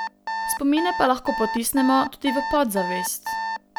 Spomine pa lahko potisnemo tudi v podzavest.